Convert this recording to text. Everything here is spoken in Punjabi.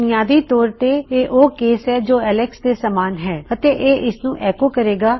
ਬੁਨਿਆਦੀ ਤੌਰ ਤੇਇਹ ਉਹ ਕੇਸ ਹੈ ਜੋ ਐਲਕਸ ਦੇ ਸਮਾਨ ਹੈ ਅਤੇ ਇਹ ਇਸਨੂੰ ਐੱਕੋ ਕਰੇਗਾ